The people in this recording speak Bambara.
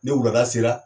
Ni wulada sera